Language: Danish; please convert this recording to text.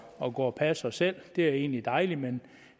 at gå og passe os selv det er egentlig dejligt men